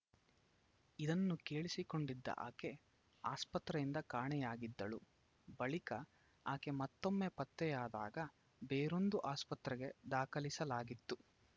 ಇದನ್ನು ಕೇಳಿಸಿಕೊಂಡಿದ್ದ ಆಕೆ ಆಸ್ಪತ್ರೆಯಿಂದ ಕಾಣೆಯಾಗಿದ್ದಳು ಬಳಿಕ ಆಕೆ ಮತ್ತೊಮ್ಮೆ ಪತ್ತೆಯಾದಾಗ ಬೇರೊಂದು ಆಸ್ಪತ್ರೆಗೆ ದಾಖಲಿಸಲಾಗಿತ್ತು